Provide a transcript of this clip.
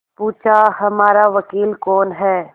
पूछाहमारा वकील कौन है